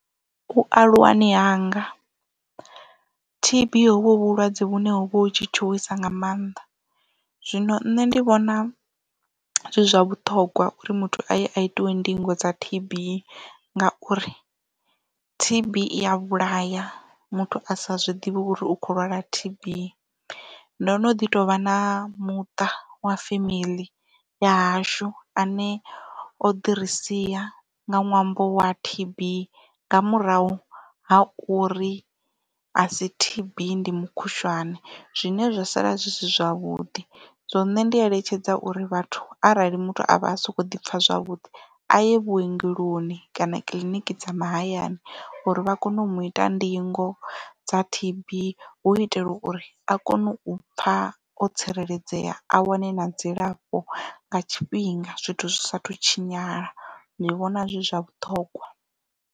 U aluwani hanga T_B hovho hu vhulwadze vhune ho vha hu tshi tshuwisa nga mannḓa zwino nṋe ndi vhona zwi zwa vhuṱhongwa uri muthu aye a itiwe ndingo dza T_B ngauri T_B iya vhulaya muthu a sa zwiḓivhi uri u kho lwala T_B ndo no ḓi tovha na muṱa wa femeḽi ya hashu ane o ḓi risia nga ṅwambo wa T_B nga murahu ha uri a si T_B ndi mukhushwane zwine zwa sala zwi si zwavhuḓi so nṋe ndi eletshedza uri vhathu arali muthu a vha a soko ḓi pfha zwavhuḓi aye vhuongeloni kana kiḽiniki dza mahayani uri vha kone u mu ita ndingo dza T_B u itela uri a kone u pfha o tsireledzea a wane na dzilafho nga tshifhinga zwithu zwi sathu tshinyala ndi vhona zwi zwa vhuṱhongwa.